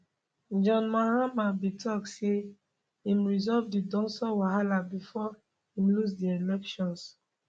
john mahama bin tok say im resolve di dumsor wahala bifor im lose di elections